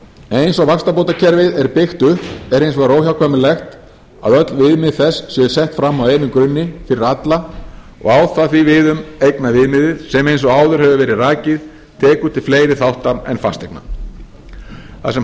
eins og vaxtabótakerfið er byggt upp er hins vegar óhjákvæmilegt að öll viðmið þess séu sett fram á einum grunni fyrir alla og á það því við um eignaviðmiðið sem eins og áður hefur verið rakið tekur til fleiri þátta en fasteigna þar sem